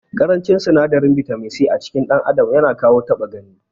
Ƙarancin sinadarin bitamin C acikin dan adam yana kawo ta6a gani.